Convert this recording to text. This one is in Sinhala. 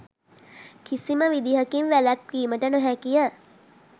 කිසිම විදිහකින් වැලැක්වීමට නොහැකිය